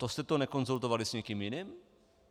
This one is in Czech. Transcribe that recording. To jste to nekonzultovali s nikým jiným?